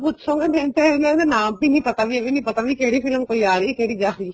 ਪੁੱਛੋਗੇ ਮੈਨੂੰ ਤਾਂ ਇਹਨਾ ਦੇ ਨਾਮ ਵੀ ਨੀ ਪਤਾ ਵੀ ਕਿਹੜੀ ਫਿਲਮ ਕੋਈ ਆ ਰਹੀ ਆ ਕੋਈ ਜਾ ਰਹੀ ਆ